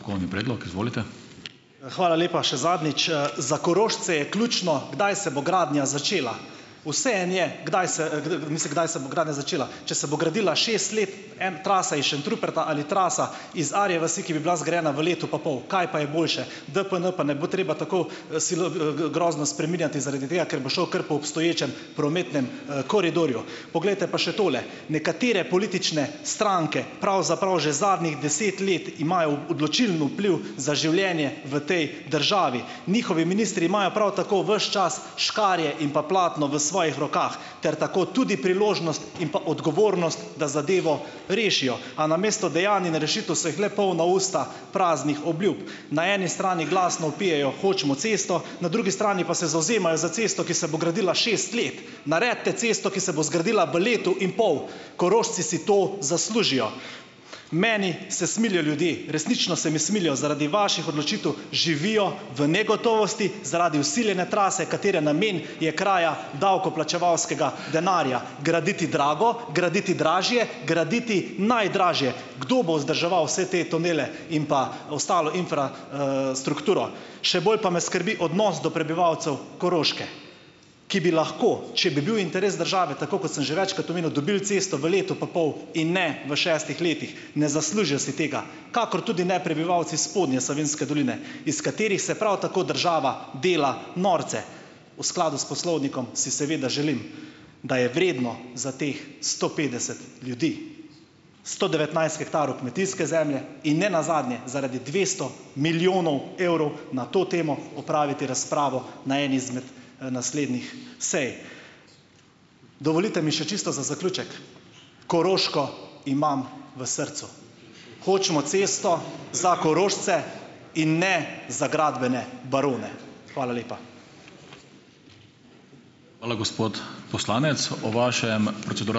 predlog, izvolite. Hvala lepa še zadnjič. Za Korošce je ključno, kdaj se bo gradnja začela. Vseeno je, kdaj se, mislim, kdaj se bo gradnja začela. Če se bo gradila šest let en trasa iz Šentruperta ali trasa iz Arje vasi, ki bi bila zgrajena v letu pa pol. Kaj pa je boljše? DPN pa ne bo treba tako grozno spreminjati zaradi tega, ker bo šel kar po obstoječem prometnem, koridorju. Poglejte, pa še tole. Nekatere politične stranke pravzaprav že zadnjih deset let imajo odločilen vpliv za življenje v tej državi, njihovi ministri imajo prav tako ves čas škarje in pa platno v svojih rokah ter tako tudi priložnost in pa odgovornost, da zadevo rešijo. A namesto dejanj in rešitev so jih le polna usta praznih obljub. Na eni strani glasno vpijejo, hočemo cesto, na drugi strani pa se zavzemajo za cesto, ki se bo gradila šest let. Naredite cesto, ki se bo zgradila v letu in pol. Korošci si to zaslužijo. Meni se smilijo ljudje, resnično se mi smilijo. Zaradi vaših odločitev živijo v negotovosti, zaradi vsiljene trase, katere namen je kraja davkoplačevalskega denarja graditi drago, graditi dražje, graditi najdražje. Kdo bo vzdrževal vse te tunele in pa ostalo Še bolj pa me skrbi odnos do prebivalcev Koroške, ki bi lahko, če bi bil interes države, tako kot sem že večkrat omenil, dobili cesto v letu pa pol in ne v šestih letih. Ne zaslužijo si tega, kakor tudi ne prebivalci spodnje Savinjske doline, iz katerih se prav tako država dela norce. V skladu s poslovnikom si seveda želim, da je vredno za teh sto petdeset ljudi, sto devetnajst hektarov kmetijske zemlje in ne nazadnje zaradi dvesto milijonov evrov na to temo opraviti razpravo na eni izmed, naslednjih sej. Dovolite mi še čisto za zaključek. Koroško imam v srcu. Hočemo cesto za Korošce in ne za gradbene barone. Hvala lepa. Hvala, gospod poslanec, o vašem ...